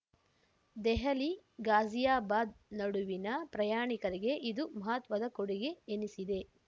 ದೆಹಲಿ ಘಾಜಿಯಾಬಾದ್ ನಡುವಿನ ಪ್ರಯಾಣಿಕರಿಗೆ ಇದು ಮಹತ್ವದ ಕೊಡುಗೆ ಎನಿಸಿದೆ